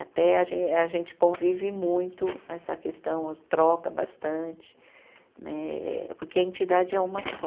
Até a gen, a gente convive muito, essa questão troca bastante né, porque a entidade é uma só.